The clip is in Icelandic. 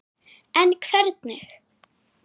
En hvernig?